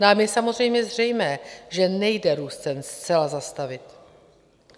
Nám je samozřejmě zřejmé, že nejde růst cen zcela zastavit.